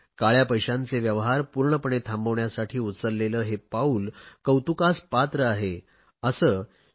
काळया पैशांचे व्यवहार पूर्णपणे थांबविण्यासाठी उचलेले हे पाऊल कौतुकास पात्र आहे असे श्री